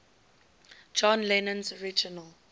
john lennon's original